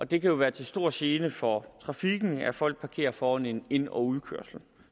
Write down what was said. det kan jo være til stor gene for trafikken at folk parkerer foran en ind og udkørsel